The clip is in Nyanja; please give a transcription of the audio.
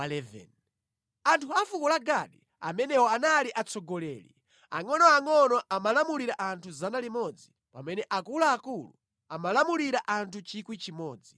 Anthu a fuko la Gadi amenewa anali atsogoleri; angʼonoangʼono amalamulira anthu 100 pamene akuluakulu amalamulira anthu 1,000.